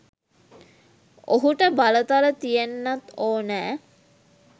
ඔහුට බලතල තියෙන්නත් ඕනෑ.